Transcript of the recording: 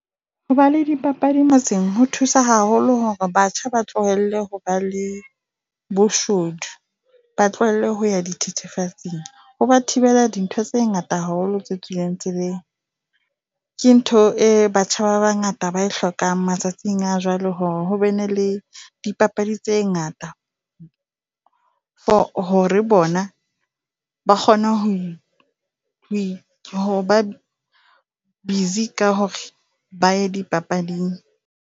Ho ba le dipapadi motseng ho thusa haholo hore batjha ba tlohelle ho ba le boshodu. Ba tlohelle ho ya dithethefatsi ho ba thibela dintho tse ngata haholo tse tswileng tseleng. Ke ntho e batjha ba bangata ba e hlokang matsatsing a jwale hore hobene le dipapadi tse ngata. For hore bona ba kgone ho i ho i ho ba busy ka hore ba ye dipapading.